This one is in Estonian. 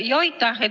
Aitäh!